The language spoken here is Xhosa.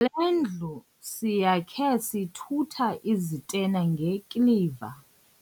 Le ndlu siyakhe sithutha izitena ngekiliva.